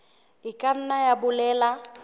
e ka nna ya bolela